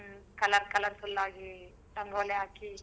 ಹ್ಮ್ colour colourful ಆಗಿ ರಂಗೋಲಿ ಹಾಕಿ.